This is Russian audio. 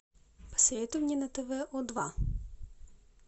посоветуй мне на тв о два